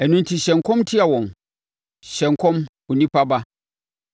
Ɛno enti hyɛ nkɔm tia wɔn. Hyɛ nkɔm onipa ba.”